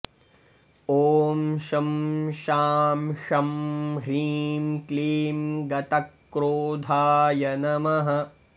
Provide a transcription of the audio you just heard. ॐ शं शां षं ह्रीं क्लीं गतक्रोधाय नमः